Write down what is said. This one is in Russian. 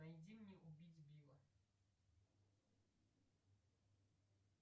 найди мне убить билла